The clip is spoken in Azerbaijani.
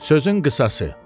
Sözün qısası.